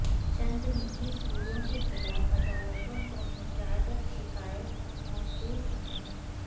چند نجی سکولوں کے خلاف عدالتوں کو متعدد شکایات موصول ہوئیں